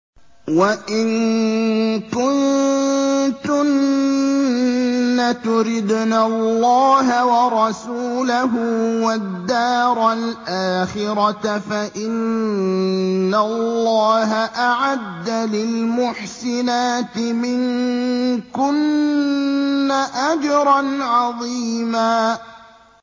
وَإِن كُنتُنَّ تُرِدْنَ اللَّهَ وَرَسُولَهُ وَالدَّارَ الْآخِرَةَ فَإِنَّ اللَّهَ أَعَدَّ لِلْمُحْسِنَاتِ مِنكُنَّ أَجْرًا عَظِيمًا